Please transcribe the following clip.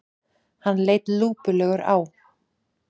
Hann leit lúpulegur á